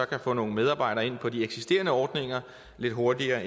kan få nogle medarbejdere ind på de eksisterende ordninger lidt hurtigere